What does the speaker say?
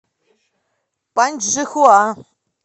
паньчжихуа